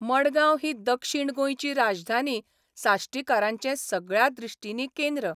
मडगांव ही दक्षीण गोंयची राजधानी साश्टीकारांचें सगळ्या दिश्टींनी केंद्र.